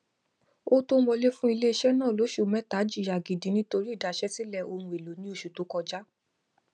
owó tó n wọlé fún iléiṣẹ náà lóṣù mẹta jìyà gidi nítorí ìdaṣẹlẹ ohun èlò ní oṣù tó kọjá